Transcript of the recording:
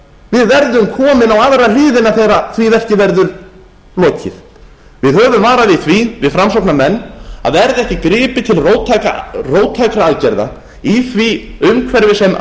við verðum komin á aðra hliðina þegar því verki verður lokið við höfum varað við því við framsóknarmenn að verði ekki gripið til róttækra aðgerða í því umhverfi sem